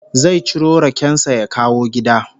Zai ciro raken sa ya kawo gida